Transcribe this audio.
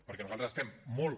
perquè nosaltres estem molt